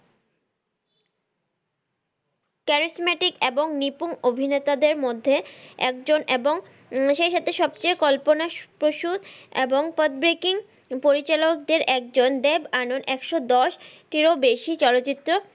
Charismatic এবং নিপুন অভিনেতাদের মধ্যে একজন এবং সেই ক্ষেত্রে সবচেয়ে কল্পনাপ্রসুদ এবং পরিচালকদের একজন দেব আনন্দ একশো দশটির ও বেশি চলচিত্র,